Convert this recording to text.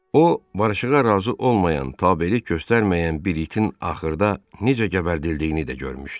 O, barışığa razı olmayan, tabelik göstərməyən bir itin axırda necə gəbərdildiyini də görmüşdü.